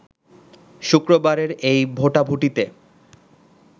শুক্রবারের এই ভোটাভুটিতে